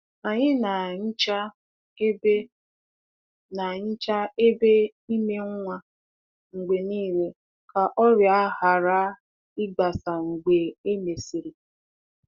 Anyị na-ahicha ebe na-ahicha ebe ime nwa mgbe niile ka ọrịa ghara ịgbasa mgbe e mesịrị.